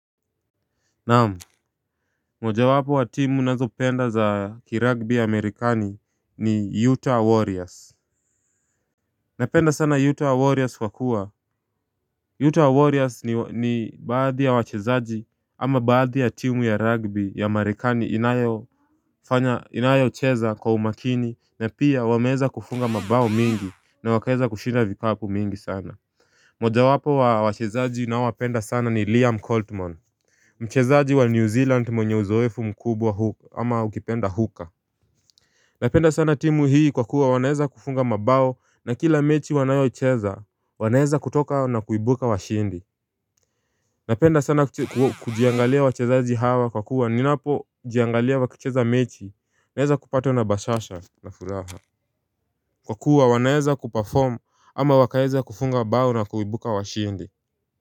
Namu moja wapo wa timu nazo penda za kiragbi ya Amerikani ni Utah Warriors Napenda sana Utah Warriors kwa kuwa Utah Warriors ni baadhi ya wachezaji ama baadhi ya timu ya rugby ya Amerikani inayo fanya inayo cheza kwa umakini na pia wameeza kufunga mabao mingi na wakaeza kushinda vikapu mingi sana moja wapo wa wachezaji ninao wapenda sana ni Liam Coltman Mchezaji wa New Zealand mwenye uzoefu mkubwa huka ama ukipenda huka Napenda sana timu hii kwa kuwa wanaeza kufunga mabao na kila mechi wanayoicheza wanaeza kutoka na kuibuka wa shindi Napenda sana kujiangalia wachezaji hawa kwa kuwa ninapo jiangalia wa kucheza mechi naeza kupatwa na bashasha na furaha Kwa kuwa wanaeza kupaform ama wakaeza kufunga bao na kuibuka wa shindi.